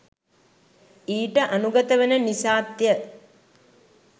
ඊට අනුගත වන නිසාත් ය.